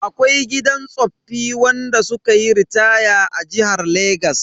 Akwai gidan tsoffi wanda sukayi ritaya a jihar Legas.